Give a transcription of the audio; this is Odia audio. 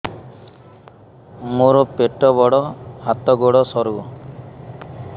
ମୋର ପେଟ ବଡ ହାତ ଗୋଡ ସରୁ